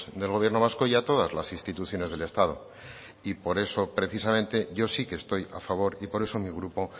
del gobierno vasco y a todas las instituciones del estado y por eso precisamente yo sí que estoy a favor y por eso mi grupo